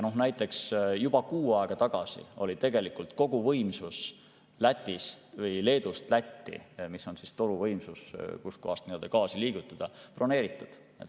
Näiteks juba kuu aega tagasi oli tegelikult kogu võimsus Leedust Lätti, mis on siis toruvõimsus, kust kohast gaasi liigutada, broneeritud.